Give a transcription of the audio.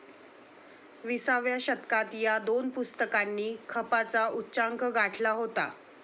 विसाव्या शतकात ह्या दोन पुस्तकांनी खपाचा उच्चांक गाठला होता.